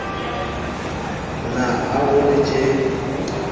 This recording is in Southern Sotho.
na ha ho le tjee